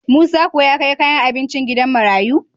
Musa kuwa ya kai kayan abincin gidan marayu?